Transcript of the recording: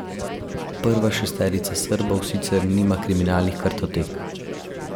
Prva šesterica Srbov sicer nima kriminalnih kartotek.